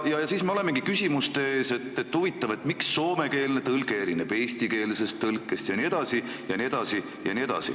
Siis me olemegi küsimuste ees, et huvitav, miks soomekeelne tõlge erineb eestikeelsest tõlkest jne.